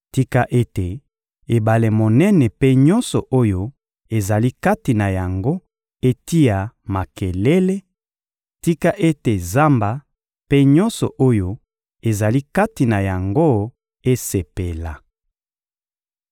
Tika ete ebale monene mpe nyonso oyo ezali kati na yango etia makelele; tika ete zamba mpe nyonso oyo ezali kati na yango esepela!